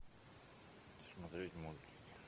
смотреть мультики